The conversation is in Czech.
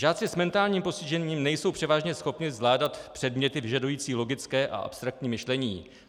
Žáci s mentálním postižením nejsou převážně schopni zvládat předměty vyžadující logické a abstraktní myšlení.